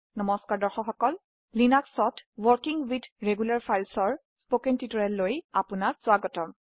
Linuxত working with regular files ৰ spoken টিউটোৰিয়েললৈ অপোনাক স্বাগতম